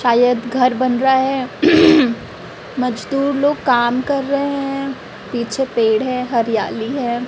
शायद घर बन रहा है मजदूर लोग काम कर रहे है पीछे पेड़ है हरियाली हैं।